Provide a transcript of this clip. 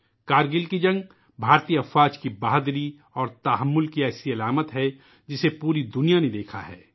کرگل کی جنگ بھارتی فوجوں کی بہادری اور تحمل کی ایک ایسی علامت ہے ، جسے پوری دنیا نے دیکھا ہے